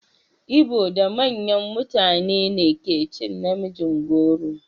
Ibo da manyan mutane ne ke cin na mijin goro.